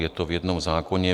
Je to v jednom zákoně.